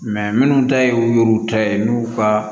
minnu ta ye u y'u ta ye n'u ka